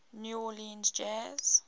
new orleans jazz